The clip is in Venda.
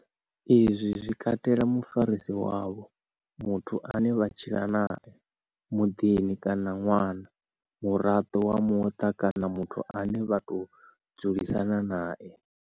Izwi zwi katela mufarisi wavho, muthu ane vha tshila nae, muunḓi kana ṅwana, muraḓo wa muṱa kana muthu ane vha tou dzulisana nae.